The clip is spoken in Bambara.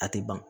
A tɛ ban